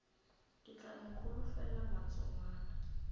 ke tla no holofela matsogwana